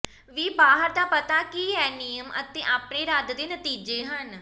ਵੀ ਬਾਹਰ ਦਾ ਪਤਾ ਕੀ ਹੈ ਨਿਯਮ ਅਤੇ ਆਪਣੇ ਰੱਦ ਦੇ ਨਤੀਜੇ ਹਨ